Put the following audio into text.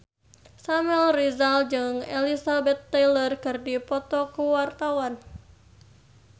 Samuel Rizal jeung Elizabeth Taylor keur dipoto ku wartawan